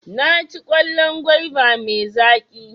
Naci kwallon gwaiba mai zaƙi.